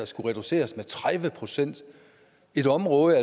skulle reduceres med tredive procent i et område